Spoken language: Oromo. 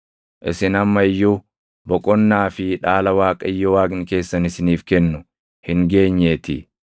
isin amma iyyuu boqonnaa fi dhaala Waaqayyo Waaqni keessan isiniif kennu hin geenyeetii.